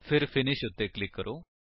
ਫਿਰ ਫਿਨਿਸ਼ ਉੱਤੇ ਕਲਿਕ ਕਰੋ